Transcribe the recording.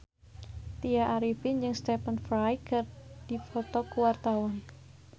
Tya Arifin jeung Stephen Fry keur dipoto ku wartawan